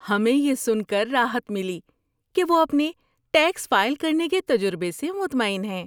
ہمیں یہ سن کر راحت ملی کہ وہ اپنے ٹیکس فائل کرنے کے تجربے سے مطمئن ہیں۔